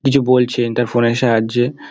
কিছু বলছে তার ফোন -এর সাহায্যে।